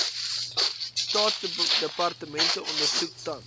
staatsdepartemente ondersoek tans